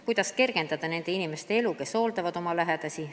Kuidas kergendada nende inimeste elu, kes hooldavad oma lähedasi?